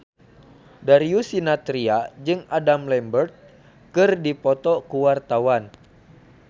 Darius Sinathrya jeung Adam Lambert keur dipoto ku wartawan